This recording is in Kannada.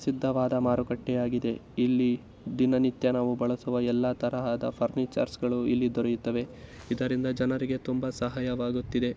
ಪ್ರಸಿದ್ಧವಾದ ಮಾರುಕಟ್ಟೆ ಆಗಿದೆ. ಇಲ್ಲಿ ದೀನ ನಿತ್ಯ ನಾವು ಬಳಸುವ ಎಲ್ಲ ತರಹದ ಫುರ್ನಿಚರ್ಸ್ ಗಳು ಇಲ್ಲಿ ದೂರೆಯುತ್ತವೆ ಇದ್ದರಿಂದ ಜನರಿಗೇ ತುಂಬಾ ಸಹಾಯ ಆಗುತಿದ್ದೆ.